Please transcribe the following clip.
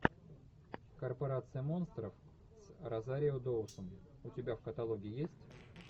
корпорация монстров с розарио доусон у тебя в каталоге есть